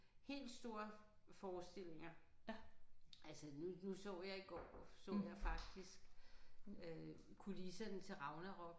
Helt store forestillinger. Altså nu nu så jeg i går så jeg faktisk øh kulisserne til Ragnarok